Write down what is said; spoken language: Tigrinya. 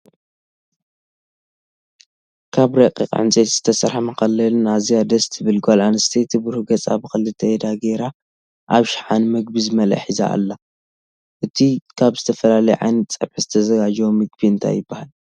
ካብ ረቂቅ ዕንጠይቲ ዝተሰረሐ መከለሊን ኣዝያ ደስ ትብል ጎል ኣንስቲየቲ ብሩህ ገፃ ብክልተ ኢዳ ገይራ ኣብ ሽሓነ ምግቢ ዝመልአ ሒዛ ኣላ። እቱይ ካብ ዝተፈላለየ ዓይነት ፀቢሒ ዝተዘጋጀወ ምግቢ እንታይ ይብሃል?